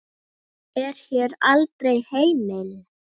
er hér aldrei heimil.